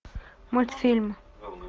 мультфильм